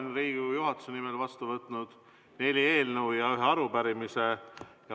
Olen Riigikogu juhatuse nimel vastu võtnud neli eelnõu ja ühe arupärimise.